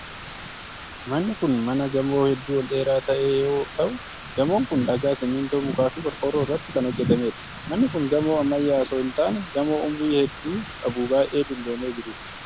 Manni kun mana gamoo hedduu ol dheeraa ta'e yoo ta'u, gamoon kun: dhagaa, simiintoo, muka fi qorqoorroo irratti kan hojjatamee dha. Manni kun gamoo ammayyaa osoo hin taane gamoo umurii hedduu qabu baay'ee dulloomee jiruu dha.